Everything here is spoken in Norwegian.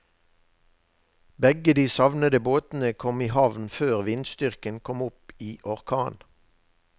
Begge de savnede båtene kom i havn før vindstyrken kom opp i orkan.